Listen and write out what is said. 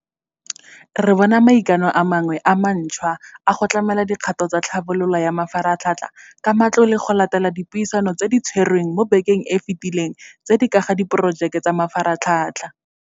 Re bona maikano a mangwe a mantšhwa a go tlamela dikgato tsa tlhabololo ya mafaratlhatlha ka matlole go latela dipuisano tse di tshwerweng mo bekeng e e fetileng tse di ka ga diporojeke tsa mafaratlhatlha.